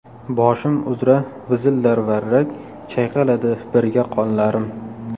Boshim uzra vizillar varrak, Chayqaladi birga qonlarim.